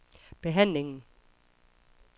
behandlingen